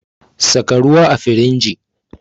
Saka ruwa a firinji